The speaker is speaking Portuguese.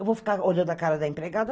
Eu vou ficar olhando a cara da empregada?